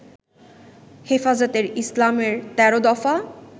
হেফাজতে ইসলামের ১৩ দফা